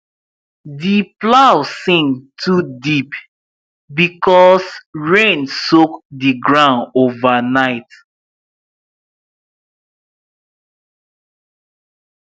the plow sink too deep because rain soak the ground overnight